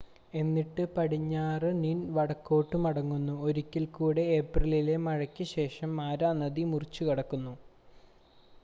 എന്നിട്ട് പടിഞ്ഞാറ് നിന്ൻ വടക്കോട്ട് മടങ്ങുന്നു ഒരിക്കൽ കൂടെ ഏപ്രിലിലെ മഴയ്ക്ക് ശേഷം മാരാ നദി മുറിച്ചുകടക്കുന്നു